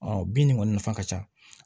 bin nin kɔni nafa ka ca